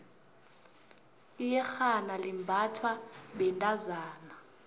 iyexhana libnbathwa bentozana